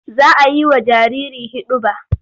Za a yi wa jariri hiɗuba.